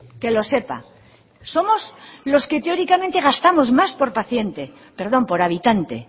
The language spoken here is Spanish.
que lo sepa somos los que teóricamente gastamos más por paciente perdón por habitante